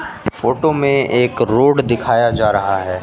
Photo में एक road दिखाया जा रहा है।